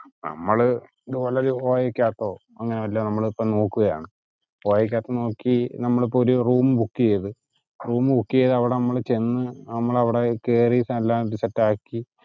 നമ്മള് ഇതുപോലൊരു ഒരു OYO യിക്കകത്തോ അങ്ങനെ വല്ലോം നമ്മളിപ്പോ നോക്കുകയാണ്. OYO ക്കിക്കകത്തു നോക്കി നമ്മൾ ഇപ്പൊ ഒരു room book ചെയ്തു room book ചെയ്തു നമ്മൾ അവിടെ ചെന്ന് നമ്മൾ അവിടെ കേറി എല്ലാം സെറ്റ് ആക്കി